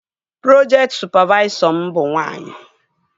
Projekti sụpavaisọ m bụ nwaanyị